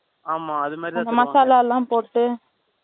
ஆமா, அது மாதிரிதான். மசாலா எல்லாம் போட்டு